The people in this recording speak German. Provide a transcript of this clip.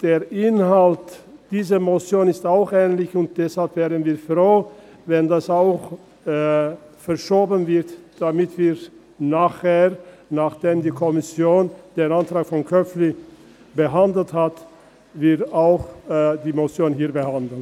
Der Inhalt dieser Motion ist ähnlich, und deshalb wären wir froh, wenn das auch verschoben würde, damit wir nachher, nachdem die Kommission den Antrag von Köpfli behandelt hat, auch die Motion hier behandelt.